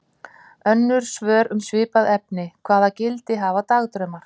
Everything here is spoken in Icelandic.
Önnur svör um svipuð efni: Hvaða gildi hafa dagdraumar?